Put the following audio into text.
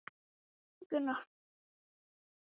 Við þurfum að þekkjast betur til þess.